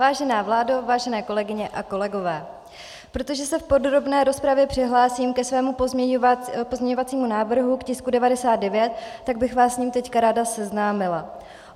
Vážená vládo, vážené kolegyně a kolegové, protože se v podrobné rozpravě přihlásím ke svému pozměňovacímu návrhu k tisku 99, tak bych vás s ním teď ráda seznámila.